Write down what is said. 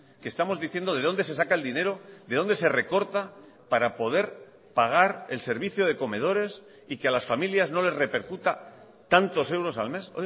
que estamos diciendo de dónde se saca el dinero de dónde se recorta para poder pagar el servicio de comedores y que a las familias no les repercuta tantos euros al mes